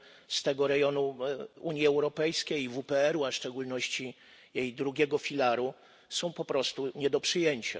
z tego rejonu Unii Europejskiej i WPR, a w szczególności jej drugiego filaru są po prostu nie do przyjęcia.